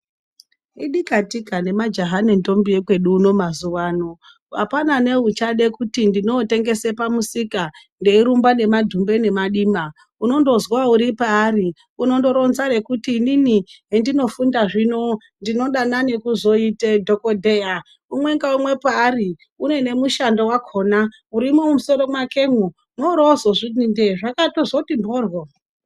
Idika tika nemajaha nentombi ekwedu uno mazuvaano apana neuchada kuti ndinootengese pamusika ndeirumba nemadhumbe nemadima unondozwa uripaari unondoronza rekuti inini hendinofunda zvino ndinodanani kuzoite dhokodheya umwe ngaumwe paari une nemushando urimumusoro pakwemo worozozviti ndee zvakandozoti mhoryo.